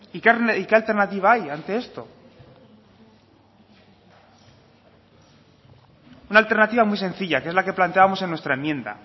y qué alternativa hay ante esto una alternativa muy sencilla que es la que planteábamos en nuestra enmienda